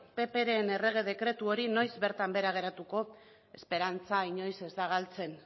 ppren errege dekretu hori noiz bertan behera geratu esperantza inoiz ez da galtzen